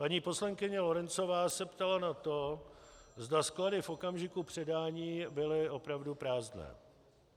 Paní poslankyně Lorencová se ptala na to, zda sklady v okamžiku předání byly opravdu prázdné.